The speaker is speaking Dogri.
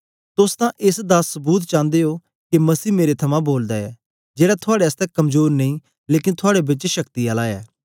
तोस तां एस दा सबूत चांदे ओ के मसीह मेरे थमां बोलदा ऐ जेड़ा थुआड़े आसतै कमजोर नेई लेकन थुआड़े बेच शक्ति आला ऐ